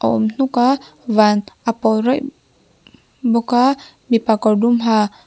awm hnuk a van a pawl raih bawka mipa kawr dum ha--